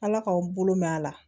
Ala k'aw bolo mɛn a la